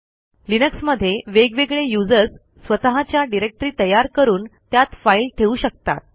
लिनक्समध्ये वेगवेगळे यूझर्स स्वतःच्या डिरेक्टरी तयार करून त्यात फाईल ठेवू शकतात